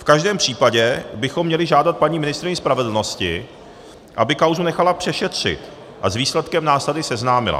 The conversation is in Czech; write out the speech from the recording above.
V každém případě bychom měli žádat paní ministryni spravedlnosti, aby kauzu nechala přešetřit a s výsledkem nás tady seznámila.